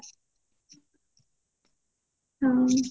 ହୁଁ